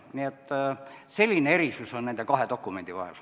Nii et selline erinevus on nende kahe dokumendi vahel.